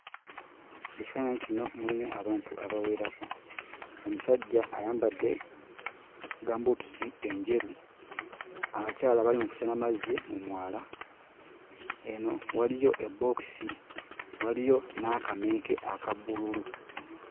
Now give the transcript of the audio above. Ekifaananyi kino mulimu abantu abawerako: omusajja ayambadde gambuutusi enjeru, abakyala abali mu kusena amazzi mu mwala, eno waliyo ebbookisi, waliyo n'akamenke aka bbululu.